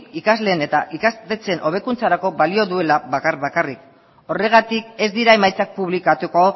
ikasleen eta ikastetxeen hobekuntzarako balio duela bakar bakarrik horregatik ez dira emaitzak publikatuko